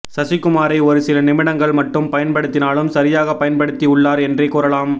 சசிகுமாரை ஒரு சில நிமிடங்கள் மட்டும் பயன்படுத்தினாலும் சரியாக பயன்படுத்தி உள்ளார் என்றே கூறலாம்